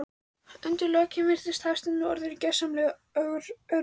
Undir lokin virðist Hafsteinn vera orðinn gersamlega örmagna.